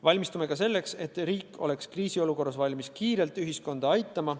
Valmistume ka selleks, et riik oleks kriisiolukorras valmis kiiresti ühiskonda aitama.